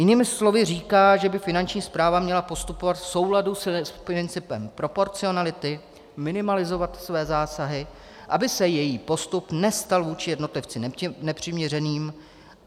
Jinými slovy říká, že by Finanční správa měla postupovat v souladu s principem proporcionality, minimalizovat své zásahy, aby se její postup nestal vůči jednotlivci nepřiměřeným.